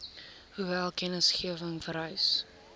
hoeveel kennisgewing vereis